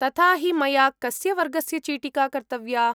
तथा हि मया कस्य वर्गस्य चीटिका कर्तव्या ?